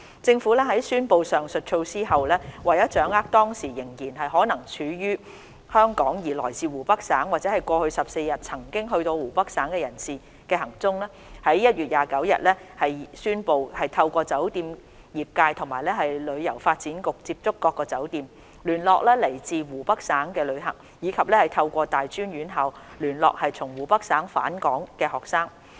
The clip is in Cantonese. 政府在宣布上述措施後，為掌握當時仍然可能身處香港而來自湖北省或在過去14日曾到過湖北省的人士的行蹤，在1月29日宣布透過酒店業界及旅遊發展局接觸各酒店，聯絡來自湖北省的旅客，以及透過大專院校聯絡從湖北省返港的學生。